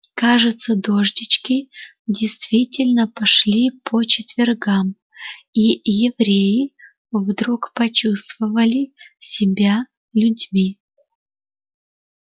кажется дождички действительно пошли по четвергам и евреи вдруг почувствовали себя людьми